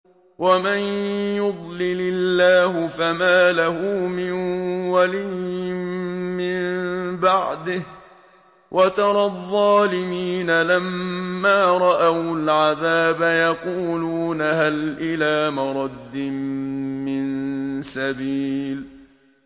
وَمَن يُضْلِلِ اللَّهُ فَمَا لَهُ مِن وَلِيٍّ مِّن بَعْدِهِ ۗ وَتَرَى الظَّالِمِينَ لَمَّا رَأَوُا الْعَذَابَ يَقُولُونَ هَلْ إِلَىٰ مَرَدٍّ مِّن سَبِيلٍ